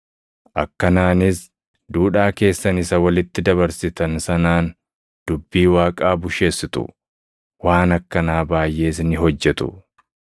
Akkanaanis duudhaa keessan isa walitti dabarsitan sanaan dubbii Waaqaa busheessitu. Waan akkanaa baayʼees ni hojjetu.”